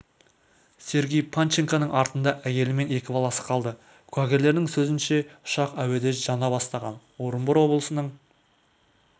сергей панченконың артында әйелі мен екі баласы қалды куәгерлердің сөзінше ұшақ әуеде жана бастаған орынбор облысының